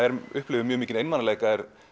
upplifir mikinn einmanaleika er